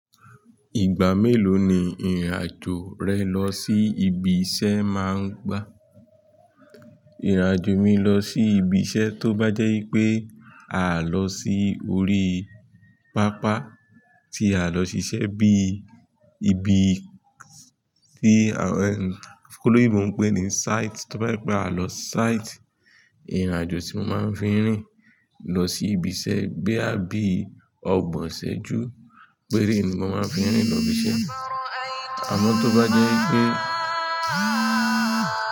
Ìgbà mélòó ni ìrìn àjò rẹ lọ sí ibi iṣẹ́ máa ń gba? Ìrìn àjò mi lọ sí ibi iṣẹ́ tó bá jẹ́ pé àá lọ sí orí pápá tí a lọ ṣiṣẹ́ bí i ibi tí àwọn toloyinbò ń pè ní site, tó bá jẹ́ pé a lọ site, ìrìn àjò tí mo máa ń fi rìn lọ sí ibi iṣẹ́ boya bí ọgbọ̀n iṣẹ́jú péré ni mo máa ń fi rìn lọ ibi iṣẹ́ àmọ́ tó bá jẹ́ i pé.